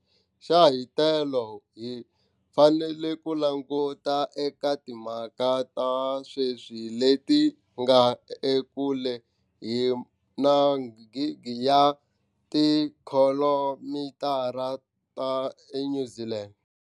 Xa hitelo, hi fanele ku languta eka timhaka ta seswi leti nga ekule hi magidi ya tikhilomitara ta eNew Zealand.